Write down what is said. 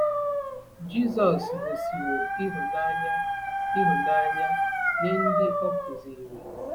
Jizọs gosiwo ịhụnanya ịhụnanya nye ndị o kụziri.